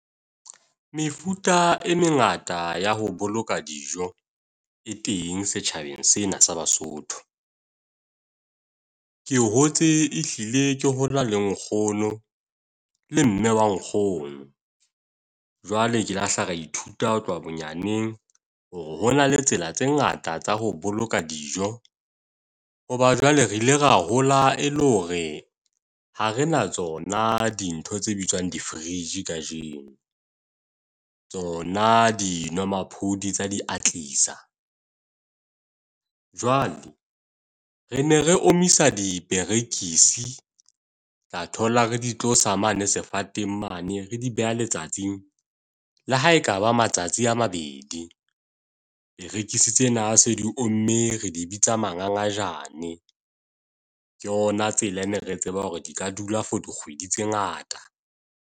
Mefuta e mengata ya ho boloka dijo e teng, setjhabeng sena sa Basotho. Ke hotse e hlile ke hona le nkgono, le mme wa nkgono. Jwale ke lahla ra ithuta ho tloha bonyaneng, hore hona le tsela tse ngata tsa ho boloka dijo. Hoba jwale re ile ra hola e le hore ha re na tsona dintho tse bitswang di-fridge kajeno. Tsona di nwamaphodi tsa diatlisa. Jwale, re ne re omisa diperekisi. Tla thola re di tlo sa mane sefateng mane re di beha letsatsing, le ha e kaba matsatsi a mabedi. Perekisi tsena se di omme re di bitsa mangangajane. Ke yona tsela ene re tseba hore di ka dula for dikgwedi tse ngata.